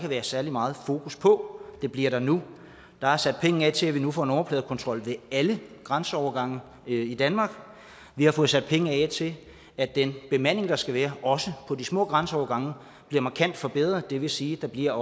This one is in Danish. været særlig meget fokus på det bliver der nu der er sat penge af til at vi nu får nummerpladekontrol ved alle grænseovergange i danmark vi har fået sat penge af til at den bemanding der skal være også på de små grænseovergange bliver markant forbedret det vil sige at der bliver